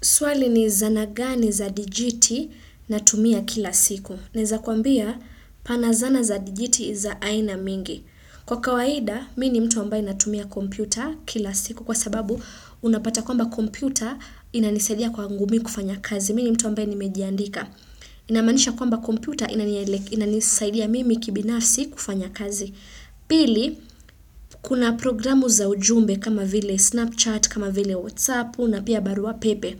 Swali ni zana gani za dijiti natumia kila siku. Naweza kuambia pana zana za dijiti za aina mingi. Kwa kawaida, mimi ni mtu ambaye natumia kompyuta kila siku. Kwa sababu, unapata kwamba kompyuta inanisaidia kwangu mimi kufanya kazi. Mimi ni mtu ambaye nimejiandika. Inamanisha kwamba kompyuta inanielek inanisaidia mimi kibinafsi kufanya kazi. Pili, kuna programu za ujumbe kama vile Snapchat, kama vile WhatsApp na pia barua pepe.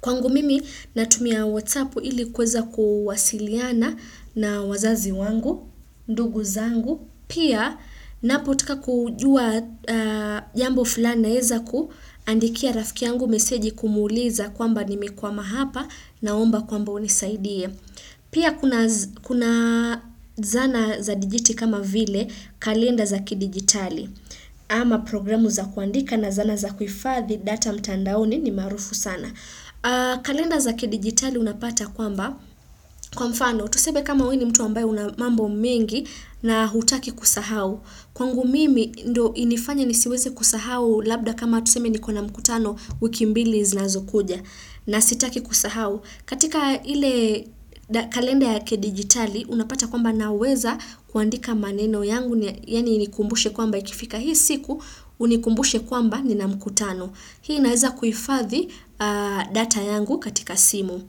Kwangu mimi natumia whatsapp ili kuweza kuwasiliana na wazazi wangu, ndugu zangu, pia ninapotaka kujua jambo fulani naweza kuandikia rafiki yangu meseji kumuuliza kwamba nimekwama hapa naomba kwamba unisaidie. Pia kuna z kuna zana za dijiti kama vile kalenda za kidigitali ama programu za kuandika na zana za kuhifadhi data mtandaoni ni maarufu sana. Kalenda za kidigitali unapata kwamba kwa mfano tuseme kama wewe ni mtu ambaye una mambo mingi na hutaki kusahau. Kwangu mimi ndiyo inifanye nisiweze kusahau labda kama tuseme nikona mkutano wiki mbili zinazokuja na sitaki kusahau. Katika ile kalenda ya kidigitali unapata kwamba naweza kuandika maneno yangu yaani inikumbushe kwamba ikifika hii siku unikumbushe kwamba nina mkutano. Hii inaweza kuifadhi data yangu katika simu.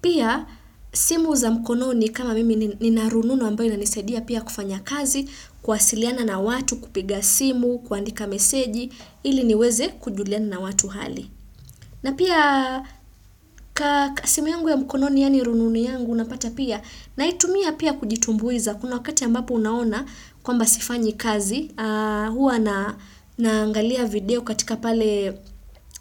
Pia simu za mkononi kama mimi ni nina rununu ambayo inanisaidia pia kufanya kazi, kuwasiliana na watu, kupiga simu, kuandika meseji, ili niweze kujuliana na watu hali. Na pia ka simu yangu ya mkononi yaani rununu yangu unapata pia naitumia pia kujitumbuiza kuna wakati ambapo unaona kwamba sifanyi kazi huwa na naangalia video katika pale.